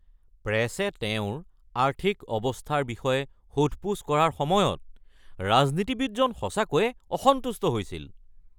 প্ৰেছে তেওঁৰ আৰ্থিক অৱস্থাৰ বিষয়ে সোধ-পোছ কৰাৰ সময়ত ৰাজনীতিবিদজন সঁচাকৈয়ে অসন্তুষ্ট হৈছিল।